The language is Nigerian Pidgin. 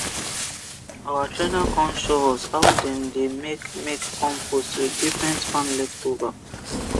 our trainer con show us how dem dey make make compost with different farm leftover